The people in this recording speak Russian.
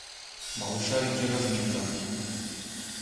малышарики разминка